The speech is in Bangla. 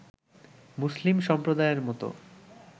মুসলিম সম্প্রদায়ের মতো